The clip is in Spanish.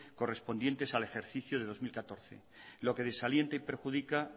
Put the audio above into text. correspondiente el ejercicio del dos mil catorce lo que desalienta y perjudica